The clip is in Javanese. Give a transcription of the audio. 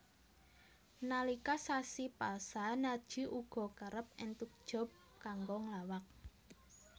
Nalika sasi pasa Narji uga kerep entuk job kanggo nglawak